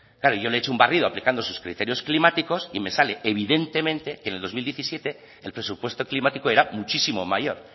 y yo le he hecho un barrido aplicando sus criterios climáticos y me sale evidentemente que en el dos mil diecisiete el presupuesto climático era muchísimo mayor